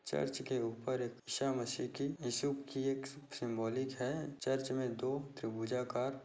church के ऊपर एक ईशा मसी की ईशु की एक सिम्बॉलिक है चर्च मे दो त्रिभुजाकार--